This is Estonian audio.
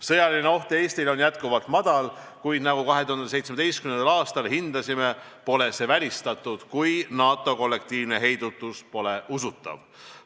Sõjaline oht Eestile on väike, kuid nagu 2017. aastal hindasime, pole see välistatud, kui NATO kollektiivne heidutus pole usutav.